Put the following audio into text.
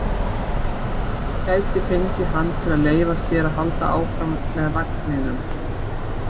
Ekkert gæti fengið hann til að leyfa sér að halda áfram með vagninum.